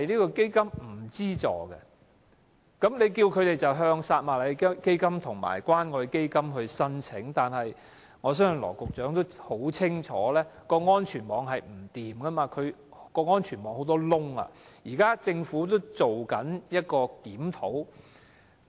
當局叫病友向撒瑪利亞基金及關愛基金申請資助，但羅局長想必很清楚這個安全網有欠妥善，漏洞很多，現時政府亦正在檢討。